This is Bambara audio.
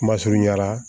Kuma surunya la